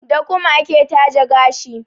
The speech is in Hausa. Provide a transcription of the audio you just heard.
Da kum ake taje gashi.